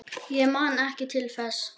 Ég man ekki til þess?